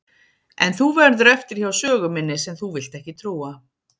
En þú verður eftir hjá sögu minni sem þú vilt ekki trúa.